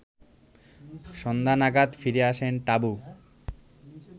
সন্ধ্যা নাগাদ ফিরে আসেন টাবু